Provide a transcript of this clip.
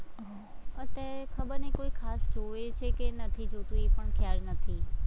અત્યારે ખબર નઈ કોઈ ખાસ જોવે છે કે નથી જોતું, એ પણ ખ્યાલ નથી.